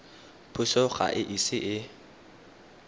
puso ga e ise e